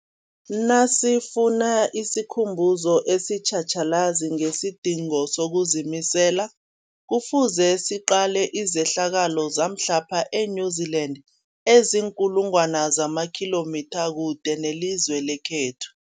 Nasifuna isikhumbuzo esitjhatjhalazi ngesidingo sokuzimisela, Kufuze siqale izehlakalo zamhlapha e-New Zealand eziinkulu ngwana zamakhilomitha kude nelizwe lekhethu.